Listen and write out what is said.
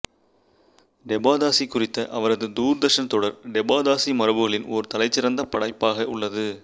டெபாதாசி குறித்த அவரது தூர்தர்ஷன் தொடர் டெபாதாசி மரபுகளில் ஒரு தலைசிறந்த படைப்பாக உள்ளது